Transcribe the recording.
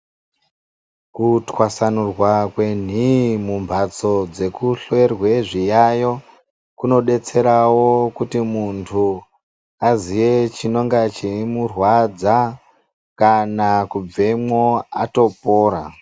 Ku twasanurwa kwe nhii mu mbatso dzeku hlorwe zvi yayo kuno detserawo kuti muntu aziye chinonga chei murwadza kana kubvemwo atopora.